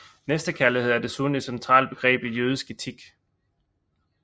Næstekærlighed er desuden et centralt begreb i jødisk etik